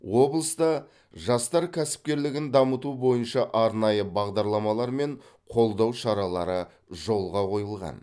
облыста жастар кәсіпкерлігін дамыту бойынша арнайы бағдарламалар мен қолдау шаралары жолға қойылған